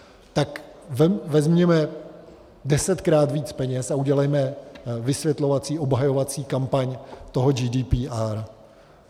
Tak vezměme desetkrát víc peněz a udělejme vysvětlovací obhajovací kampaň toho GDPR.